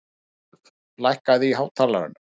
Rudolf, lækkaðu í hátalaranum.